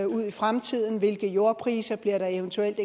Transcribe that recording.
ud i fremtiden om hvilke jordpriser der eventuelt